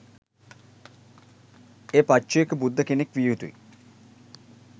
ඒ පච්චේක බුද්ධ කෙනෙක් විය යුතුයි.